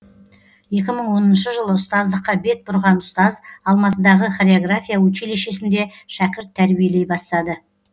екі мың оныншы жылы ұстаздыққа бет бұрған ұстаз алматыдағы хореография училищесінде шәкірт тәрбиелей бастады